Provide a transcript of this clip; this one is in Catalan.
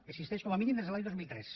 existeix com a mínim des de l’any dos mil tres